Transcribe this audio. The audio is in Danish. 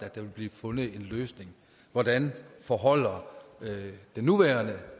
at der vil blive fundet en løsning hvordan forholder den nuværende